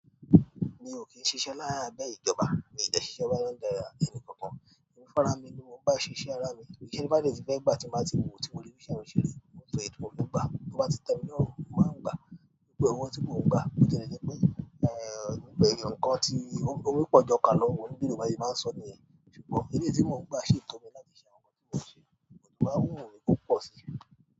Mi ò kí n ṣiṣẹ́ lábẹ́ ìjọba, mi ò dẹ́ ṣiṣẹ́ lábẹ́ ẹnì kankan. Emi fúnra mi ni mo ń bá ṣiṣẹ́ ara mi, iyé ti mo bá dẹ́ ti gbá tí n bá ti wo tí mo rí bi iṣe yen seri to jo eye ti mo má n gba tí ó bá ti tẹ́ mi lórun, mo máa ń gbà. Pé owó tí mo ń gbà, bó tiẹ̀ jẹ́ pé ẹ̀yàn ọ̀kọ̀ tí omi pọ̀ ju ọkà lọ, bí Yorùbá ṣe máa ń sọ niyẹn. Ṣùgbọ́n owó tí mo ń gbà sì tó mi láti ṣe àwọn nǹkan tí mo fẹ́, ṣùgbọ́n tó bá wù mí, mo lè gbà sí i.